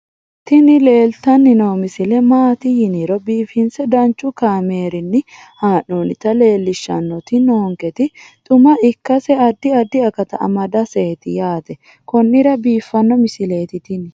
tini leeltanni noo misile maaati yiniro biifinse danchu kaamerinni haa'noonnita leellishshanni nonketi xuma ikkase addi addi akata amadaseeti yaate konnira biiffanno misileeti tini